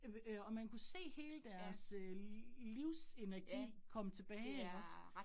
Øh øh og man kunne se hele deres øh livsenergi komme tilbage ikke også